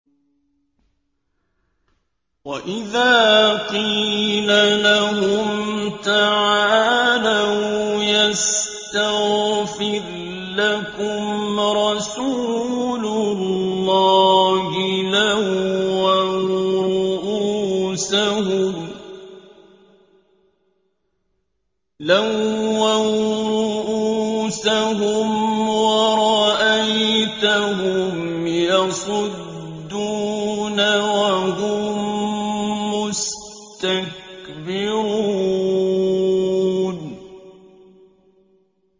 وَإِذَا قِيلَ لَهُمْ تَعَالَوْا يَسْتَغْفِرْ لَكُمْ رَسُولُ اللَّهِ لَوَّوْا رُءُوسَهُمْ وَرَأَيْتَهُمْ يَصُدُّونَ وَهُم مُّسْتَكْبِرُونَ